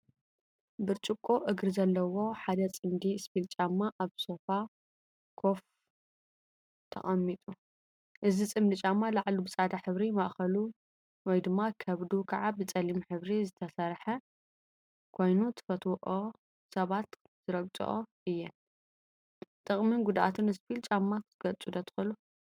ብርጭቆ እግሪ ዘለዎ ሓደ ፅምዲ እስፒል ጫማ አብ ሶፋ ኮፈ ተቀሚጡ፡፡ እዚ ፅምዲ ጫማ ላዕሉ ብፃዕዳ ሕብሪ ማእከሉ/ከብዱ/ ከዓ ብፀሊም ሕብሪ ዝተሰርሐ ኮይኑ ዝፈትዎኦ ሰባት ዝረግፅኦ እየን፡፡ ጥቅሚን ጉድአቱን እስፒል ጫማ ክትገልፁ ዶ ትክእሉ?